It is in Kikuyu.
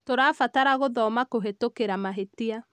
tũrabatara gũthoma kũhĩtũkĩra mahĩtia